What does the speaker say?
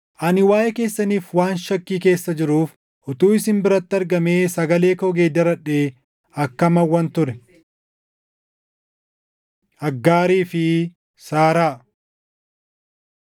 ani waaʼee keessaniif waan shakkii keessa jiruuf utuu isin biratti argamee sagalee koo geeddaradhee akkam hawwan ture! Aggaarii fi Saaraa